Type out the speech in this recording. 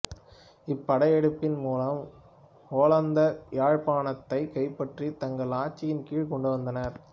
இப்படையெடுப்பின் மூலம் ஒல்லாந்தர் யாழ்ப்பாணத்தைக் கைப்பற்றித் தங்கள் ஆட்சியின் கீழ்க் கொண்டுவந்தனர்